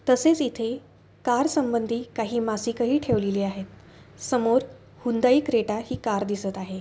तसेच इथे कार संबंधी काही मासिक ही ठेवलेली आहे. समोर हुंडाई क्रेटा ही कार दिसत आहे.